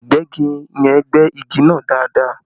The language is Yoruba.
Ìgbẹ́gi yẹn gbẹ́ igi náà dáadáa